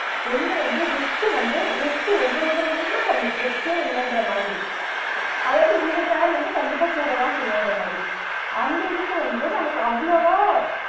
ஒன்னு வந்து risk க்கு வந்து risk க்கு ரொம்ப ரொம்ப ரொம்ப கம்மி risk ஏ இல்லன்ற மாதிரி அதாவது இந்த share வந்து கண்டிப்பா கூடதான் செயுன்ற மாதிரி அந்த இதுக்கு வந்து நமக்கு அவ்ளோ வா